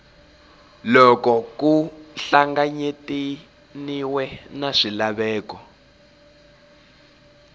loko ku hlanganyetaniwe na swilaveko